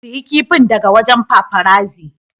Siya kifin daga wajen paparazzi.